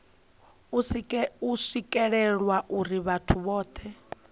u swikelelwa uri vhathu vhohe